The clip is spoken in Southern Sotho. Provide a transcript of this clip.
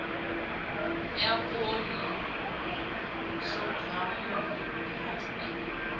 ya poone sorghum le pasta